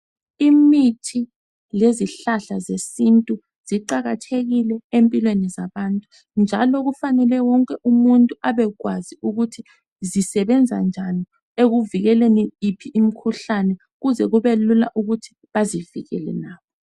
Imithi lezihlahla zesintu ziqakathekile empilweni zabantu njalo kufanele wonke umuntu abekwazi ukuthi zisebenza njani ekuvikeleni iphi imikhuhlane ukuze kubelula ukuthi bazivikele labo.